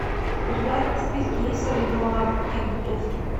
у тебя в списке есть сорвиголова кик бутовски